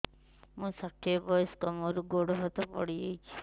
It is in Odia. ମୁଁ ଷାଠିଏ ବୟସ୍କା ମୋର ଗୋଡ ହାତ ପଡିଯାଇଛି